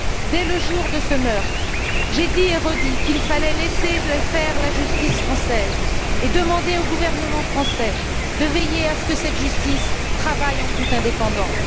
Dès le jour de ce meurtre, j'ai dit et redit qu'il fallait laisser faire la justice française et demander au gouvernement français de veiller à ce que cette justice travaille en toute indépendance.